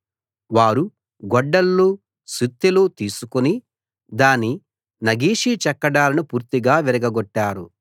వారు గొడ్డళ్ళు సుత్తెలు తీసుకుని దాని నగిషీ చెక్కడాలను పూర్తిగా విరగగొట్టారు